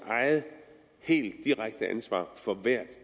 helt eget direkte ansvar for hvert